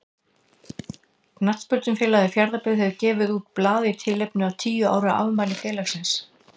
Knattspyrnufélagið Fjarðabyggð hefur gefið út blað í tilefni af tíu ára afmæli félagsins.